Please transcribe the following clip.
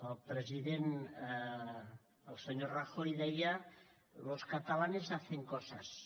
el president el senyor rajoy deia los catalanes hacen cosas